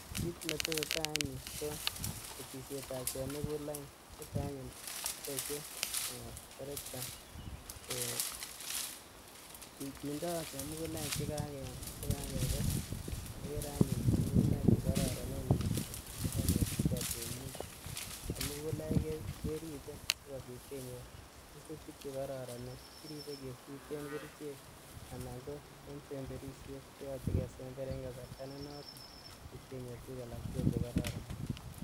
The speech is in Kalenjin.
Kit netesee taa en yuu kokesisietab chemugulaik niton anyuun boisie terekta kindoo chemugulaik chekakekes ikere anyuun chemugulaik chekororonen misink chekonyorjigee temindet chemugulaik keribet sikobit kenyor kesutik chekororonen kiribe kesuten kerichek anan ko en semberisiet koyoche kesember en kasarta nenoton kot kenyor tuguk alak tugul chekororon